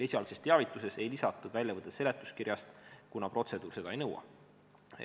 Esialgses teavituses ei lisatud väljavõtet seletuskirjast, kuna protseduur seda ei nõua.